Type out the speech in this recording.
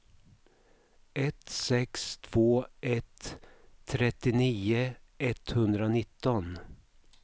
ett sex två ett trettionio etthundranitton